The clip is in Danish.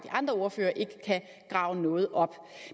andre ordførere ikke kan grave noget op